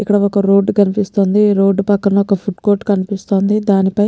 ఇక్కడ ఒక్క రోడ్డు కనిపిస్తుంది ఈ రోడ్డు పక్కన ఒక్క ఫుడ్ కోర్టు కనిపిస్తుంది దానిపై--